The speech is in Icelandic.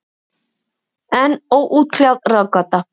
Enn óútkljáð ráðgáta.